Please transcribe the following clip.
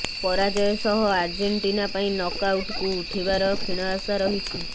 ପରାଜୟ ସହ ଆର୍ଜେଣ୍ଟିନା ପାଇଁ ନକଆଉଟ୍କୁ ଉଠିବାର କ୍ଷୀଣ ଆଶା ରହିଛି